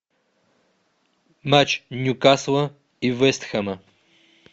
матч ньюкасла и вест хэма